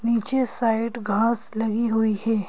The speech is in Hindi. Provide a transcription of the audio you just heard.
नीचे साइड घास लगी हुई है।